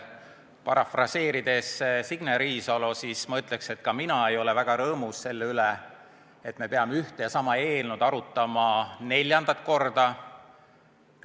Parafraseerides Signe Riisalot, ma ütleks, et ka mina ei ole väga rõõmus selle üle, et me peame ühte ja sama eelnõu arutama neljandat korda.